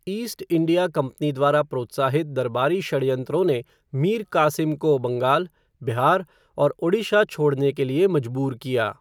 East India company द्वारा प्रोत्साहित दरबारी षड्यंत्रों ने मीर कासिम को बंगाल, बिहार और ओडिशा छोड़ने के लिए मजबूर किया।